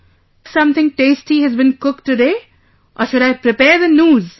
Has something tasty has been cooked today or should I prepare the noose